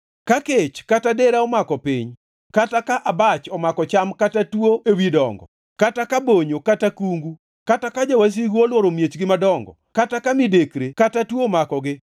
“Ka kech kata dera omako piny kata ka abach omako cham kata tuo ewi dongo, kata ka bonyo kata kungu, kata ka jowasigu olworo miechgi madongo, kata ka midekre kata tuo omakogi,